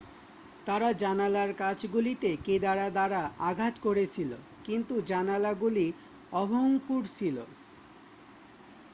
তারা জানালার কাঁচগুলিতে কেদারা দ্বারা আঘাত করেছিল কিন্তু জানালাগুলি অভঙ্গুর ছিল